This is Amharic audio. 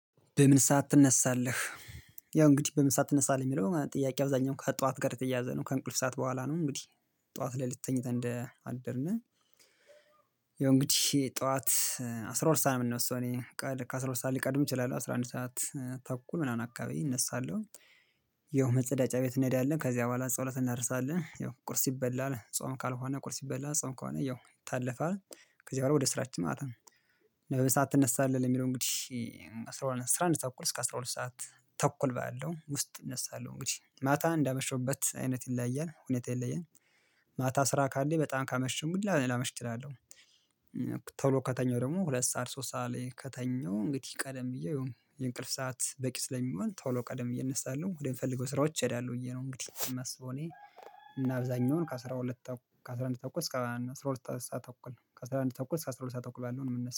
በምን ሰዓት ትነሳለህ? ያው እንግዲህ በምን ሰዓት ትነሳለህ የሚለው ጥያቄ አብዛኛው ከጠዋት ጋር የተያያዘ ነው። ከእንቅልፍ ሰዓት በኋላ ነው። እንግዲህ ጠዋት ላይ ልክ ተኝተን እንደ አደርን። ያው እንግዲህ ጠዋት አስር ሁለት ሳልሆን ነው የምንወስደው እኔ ከአስራ ሁለት ሰዓት ሊቀድም ይችላል አስራ አንድ ሰዓት ተኩል ምናምን አካባቢ እነሳለሁ። ይኸው መጸዳጫ ቤት እንሄዳለን ከዚያ በኋላ ጸሎት እናደርሳለን ያው ቁርስ ይበላል ጾም ካልሆነ ቁርስ ይበላል ጾም ከሆነ ያው ይታለፋል። ከዚህ በኋላ ወደ ስራችን ማታ ለበሳት ትነሳለህ ለሚለው እንግዲህ? አስራ አንድ ተኩል እስከ አስራ ሁለት ሰዓት ተኩል ባለው ውስጥ እነሳለሁ። እንግዲህ ማታ እንዳመሸውበት አይነት ይለያያል ሁኔታ ይለያያል። ማታ ስራ ካለ በጣም ካመሽሁ እንግዲ ላመሽ እችላለሁ። ቶሎ ከተኛው ደሞ ሁለት ሰዓት ሶስት ሰዓት ላይ ከተኛው እንግዲህ ቀደም ብዬ የእንቅልፍ ሰዓት በቂ ስለሚወን ቶሎ ቀደም ብዬ እነሳለሁ ወደምፈልገው ስራዎች እሄዳለሁ ብዬ ነው። እንግዲህ እማስበው እኔ እና አብዛኛውን ከ አስራንድ አንድ ተኩል እስከ አስራ ሁለት ሰዓት ተኩል ከ አስራንድ አንድ ተኩል ከአስራ ሁለት ሰዓት ተኩል ባለው ነው ምነሳ